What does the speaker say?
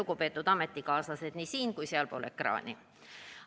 Lugupeetud ametikaaslased siin ja sealpool ekraani!